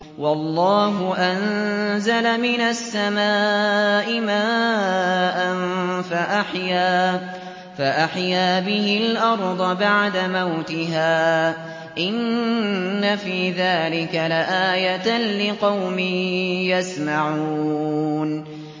وَاللَّهُ أَنزَلَ مِنَ السَّمَاءِ مَاءً فَأَحْيَا بِهِ الْأَرْضَ بَعْدَ مَوْتِهَا ۚ إِنَّ فِي ذَٰلِكَ لَآيَةً لِّقَوْمٍ يَسْمَعُونَ